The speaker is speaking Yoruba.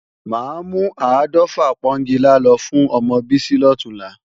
Máa mú áàdọ́fà pọ́ńgilá lọ fún ọmọ Bísí lọ̀túnla